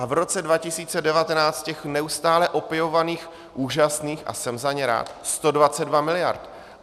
A v roce 2019 těch neustále opěvovaných, úžasných, a jsem za ně rád, 122 miliard.